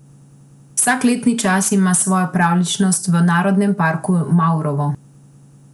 Vsak letni čas ima svojo pravljičnost v narodnem parku Mavrovo.